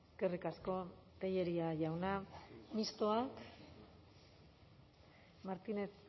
eskerrik asko tellería jauna mistoak martínez